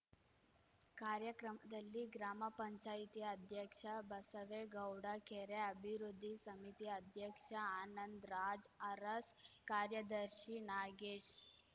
ಕಾರ್ಯಕ್ರಮದಲ್ಲಿ ಗ್ರಾಮ ಪಂಚಾಯತಿ ಅಧ್ಯಕ್ಷ ಬಸವೇಗೌಡ ಕೆರೆ ಅಭಿವೃದ್ಧಿ ಸಮಿತಿ ಅಧ್ಯಕ್ಷ ಆನಂದ್‌ರಾಜ್‌ ಅರಸ್‌ ಕಾರ್ಯದರ್ಶಿ ನಾಗೇಶ್‌